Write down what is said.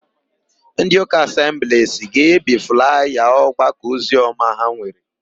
Ndịụka Asembliisi ga-ebi flaya ọgbakọoziọma ha nwere.